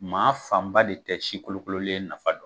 Maa fanba de tɛ si kolokololen nafa don.